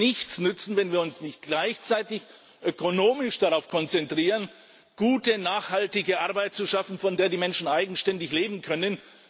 Aber es wird nichts nützen, wenn wir uns nicht gleichzeitig ökonomisch darauf konzentrieren, gute, nachhaltige Arbeit zu schaffen, von der die Menschen eigenständig leben können.